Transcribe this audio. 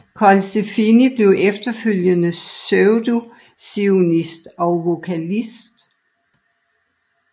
Colsefini blev efterfølgende percussionist og vokalist